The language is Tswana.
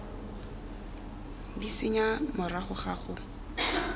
d senya morago ga go